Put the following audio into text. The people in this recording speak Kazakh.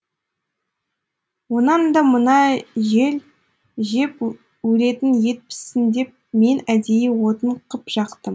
онан да мына жеп өлетін ет піссін деп мен әдейі отын қып жақтым